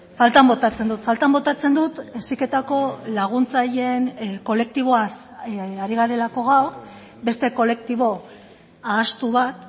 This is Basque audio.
faltan botatzen dut faltan botatzen dut heziketako laguntzaileen kolektiboaz ari garelako gaur beste kolektibo ahaztu bat